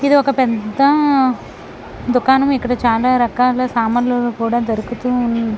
ఇది ఒక పెద్ద దూకణము.ఇక్కడ చాలా రకాల సామానులు కూడా దొరుకుతూ ఉన్--